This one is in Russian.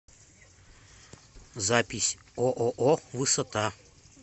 запись ооо высота